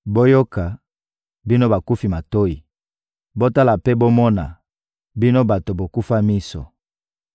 Boyoka, bino bakufi matoyi! Botala mpe bomona, bino bato bokufa miso!